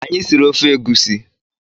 Anyị siri ofe egusi